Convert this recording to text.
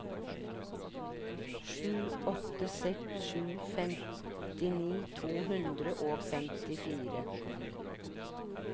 sju åtte seks sju femtini to hundre og femtifire